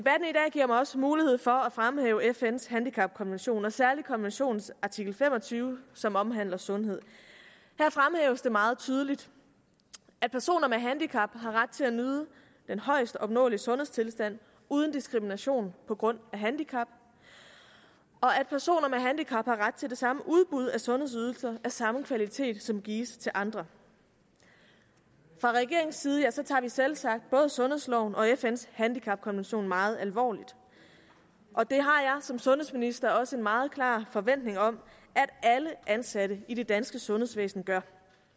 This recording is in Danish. giver mig også mulighed for at fremhæve fns handicapkonvention og særligt konventionens artikel fem og tyve som omhandler sundhed her fremhæves det meget tydeligt at personer med handicap har ret til at nyde den højest opnåelige sundhedstilstand uden diskrimination på grund af handicap og at personer med handicap har ret til det samme udbud af sundhedsydelser af samme kvalitet som gives til andre fra regeringens side tager vi selvsagt både sundhedsloven og fns handicapkonvention meget alvorligt og det har jeg som sundhedsminister også en meget klar forventning om at alle ansatte i det danske sundhedsvæsen gør